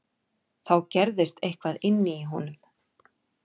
Þá gerðist eitthvað inní honum.